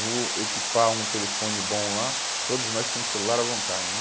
vou equipar um telefone bom lá, que todos nós tínhamos celular à vontade, né?